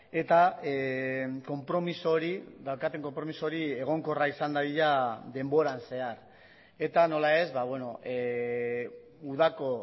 eta konpromiso hori daukaten konpromiso hori egonkorra izan dadila denboran zehar eta nola ez udako